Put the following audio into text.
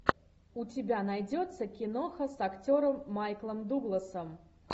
у тебя найдется киноха с актером майклом дугласом